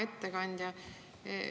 Hea ettekandja!